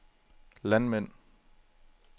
landmænd